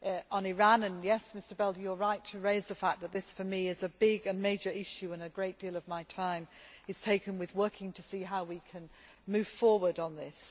On Iran, yes, Mr Belder, you are right to raise the fact that this for me is a big and major issue and a great deal of my time is taken up with working to see how we can move forward on this.